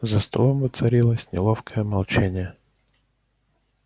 за столом воцарилось неловкое молчание